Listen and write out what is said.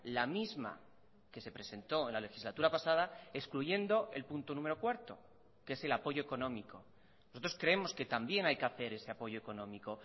la misma que se presentó en la legislatura pasada excluyendo el punto número cuarto que es el apoyo económico nosotros creemos que también hay que hacer ese apoyo económico